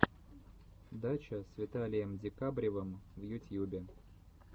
дача с виталием декабревым в ютьюбе